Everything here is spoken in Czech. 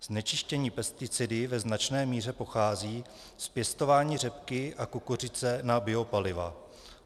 Znečištění pesticidy ve značné míře pochází z pěstování řepky a kukuřice na biopaliva.